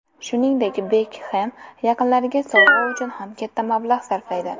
Shuningdek, Bekhem yaqinlariga sovg‘a uchun ham katta mablag‘ sarflaydi.